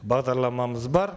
бағдарламамыз бар